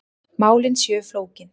Málin séu flókin.